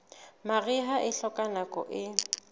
mariha e hloka nako e